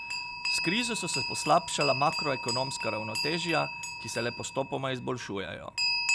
S krizo so se poslabšala makroekonomska ravnotežja, ki se le postopoma izboljšujejo.